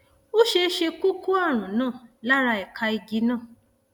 ó ṣeé ṣe kó o kó ààrùn náà lára ẹka igi náà